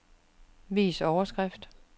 Vis overskrift.